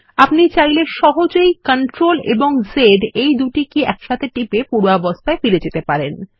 আপনি চাইলে সহজেই CTRL এবং Z এই কী দুটি একসাথে টিপে পূর্বাবস্থায় ফিরে পেতে পারেন